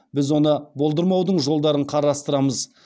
біз оны болдырмаудың жолдарын қарастырамыз